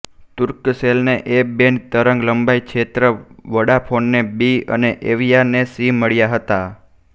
તુર્કસેલને A band તરંગ લંબાઈ ક્ષેત્ર વોડાફોનને બી અને એવિયાને સી મળ્યા હતા